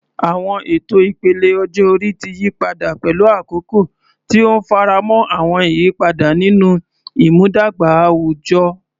Àwọn ètò ìpele ọjọ́ orí ti yí padà pẹ̀lú àkókò, tí ó ń faramọ́ àwọn àyípadà nínú ìmúdàgba àwùjọ.